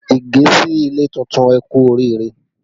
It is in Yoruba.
Ige sí ilé tuntun, ẹ kú oriire